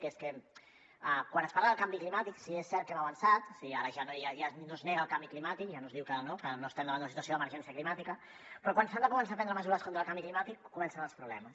que és que quan es parla del canvi climàtic sí que és cert que hem avançat o sigui ara ja no es nega el canvi climàtic ja no es diu que no estem davant d’una situació d’emergència climàtica però quan s’han de començar a prendre mesures contra el canvi climàtic comencen els problemes